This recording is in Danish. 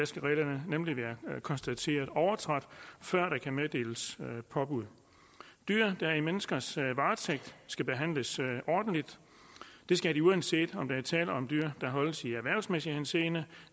skal reglerne nemlig være konstateret overtrådt før der kan meddeles påbud dyr der er i menneskers varetægt skal behandles ordentligt det skal de uanset om der er tale om dyr der holdes i erhvervsmæssig henseende